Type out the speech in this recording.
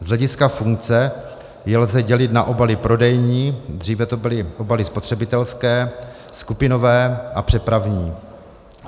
Z hlediska funkce je lze dělit na obaly prodejní, dříve to byly obaly spotřebitelské, skupinové a přepravní.